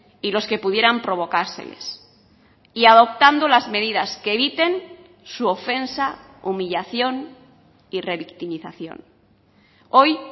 y los que pudieran provocárseles y adoptando las medidas que eviten su ofensa humillación y revictimización hoy